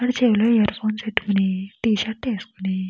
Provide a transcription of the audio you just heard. వాడి చెవిలో earphones పెట్టుకుని టీషర్ట్ ఏసుకొని --